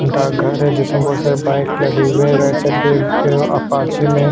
डाकघर है जिसमे बहोत सारे बाइक लगे हुए है राईट साइड एक अपाचे में--